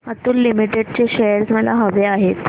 Atul limited चे shares मला हवे आहेत